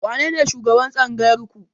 Wanene shugaban Tsangayar ku?